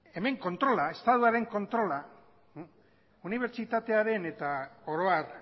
hemen kontrola estatuaren kontrola unibertsitatearen eta oro har